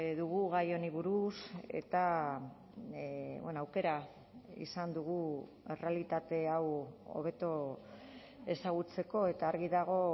dugu gai honi buruz eta aukera izan dugu errealitate hau hobeto ezagutzeko eta argi dago